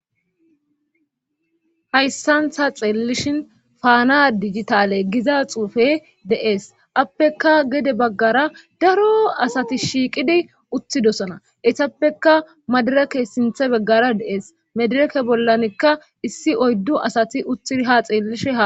hayssantha xeellishin faana dijitale giza xuufe deees appeka gede baggara daro asati shiiqidi utthidosona etappeka madarake sinthe beggara dees madirake bollanikka issi oyddu asati utthi ha xeellishe ha